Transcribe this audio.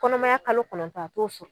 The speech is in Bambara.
Kɔnɔmaya kalo kɔnɔntɔn a t'o sɔr